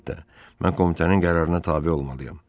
Əlbəttə, mən komitənin qərarına tabe olmalıyam.